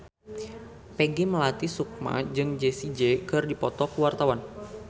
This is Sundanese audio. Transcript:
Peggy Melati Sukma jeung Jessie J keur dipoto ku wartawan